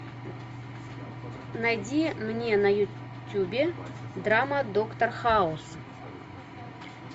найди мне на ютюбе драма доктор хаус